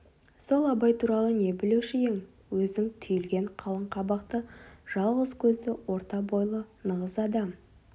сол абай туралы не білуші ең өзің түйілген қалың қабақты жалғыз көзді орта бойлы нығыз адам